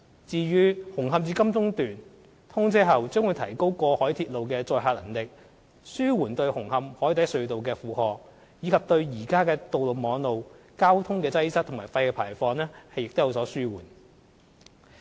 至於"紅磡至金鐘段"，通車後將會提高過海鐵路的載客能力，紓緩對紅磡海底隧道的負荷，以及對現有道路網絡的交通擠塞和廢氣排放有所紓緩。